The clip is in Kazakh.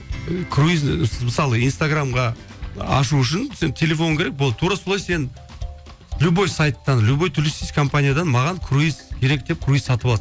круиз мысалы инстаграмға ашу үшін сен телефон керек болды тура солай сен любой сайттан любой туристический компаниядан маған круиз керек деп круиз сатып аласың